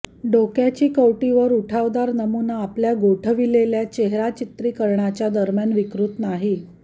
डोक्याची कवटी वर उठावदार नमुना आपल्या गोठविलेल्या चेहरा चित्रीकरणाच्या दरम्यान विकृत नाही